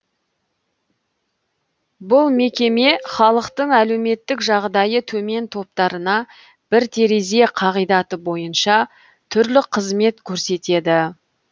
бұл мекеме халықтың әлеуметтік жағдайы төмен топтарына бір терезе қағидаты бойынша түрлі қызмет көрсетеді